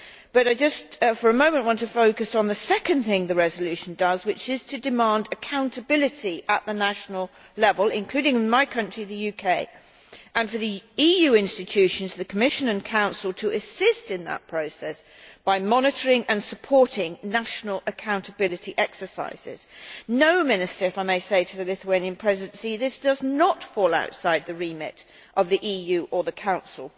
But just for a moment I want to focus on the second thing the resolution does, which is to demand accountability at national level, including my country the UK, and to call for the EU institutions the Commission and Council to assist in that process by monitoring and supporting national accountability exercises. No, Minister if I may say so to the Lithuanian Presidency this does not fall outside the remit of the EU or the Council.